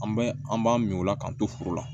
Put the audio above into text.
An bɛ an b'an min o la k'an to foro la